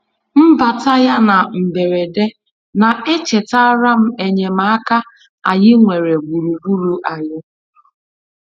Mbata ya na mberede na-echetara m enyemaaka anyị nwere gburugburu anyị.